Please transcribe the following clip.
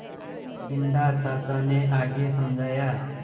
बिन्दा चाचा ने आगे समझाया